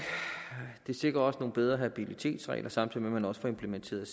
det sikrer også nogle bedre habilitetsregler samtidig med at man også får implementeret